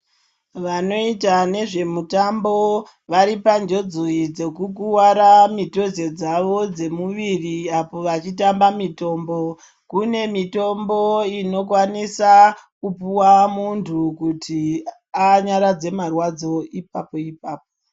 Vanoita nezvemitambo varipanjodzi dzekukuvara mitodze dzavo dzemuviri apo vachitamba mitambo Kune mitombo inokwanisa kupuwa muntu kuti anyaradze marwadzo ipapo ipapo.